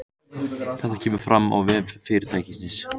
Þetta kemur fram á vef fyrirtækisins